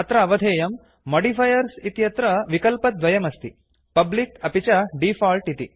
अत्र अवधेयम् मोडिफायर्स् इत्यत्र विकल्पद्वयम् अस्ति पब्लिक अपि च डिफॉल्ट् इति